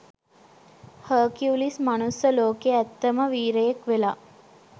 Hercules මනුස්ස ලෝකේ ඇත්තම වීරයෙක් වෙලා